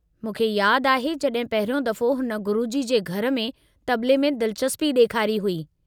मूंखे यादि आहे जड॒हिं पहिरियों दफ़ो हुन गुरुजी जे घर में तबले में दिलचस्पी ॾेखारी हुई।